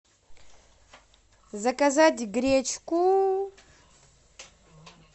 заказать гречку